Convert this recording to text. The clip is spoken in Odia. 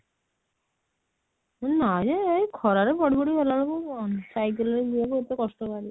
ନାଇଁ ଯେ ଏଇ ଖରା ରେ ପଡି ପଡି ଗଲା ବେଳକୁ ସାଇକେଲ ରେ ବଉ ମୋତେ କଷ୍ଟ ଭାରି